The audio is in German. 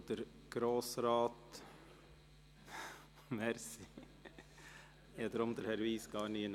Ich glaube Grossrat … Danke, ich habe Herrn Wyss nirgends gesehen.